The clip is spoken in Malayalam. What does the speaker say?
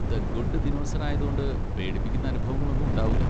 ദ ഗുഡ് ദിനോസർ ആയതോണ്ട് പേടിപ്പിക്കുന്ന അനുഭവങ്ങളൊന്നും ഉണ്ടാവൂല.